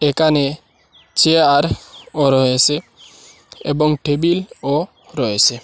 একানে চেয়ারও রয়েসে এবং টেবিলও রয়েসে ।